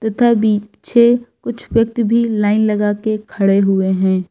तथा बिछे कुछ व्यक्ति भी लाइन लगा के खड़े हुए हैं।